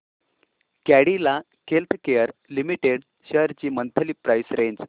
Cadila healthcare limited shares ची monthly price range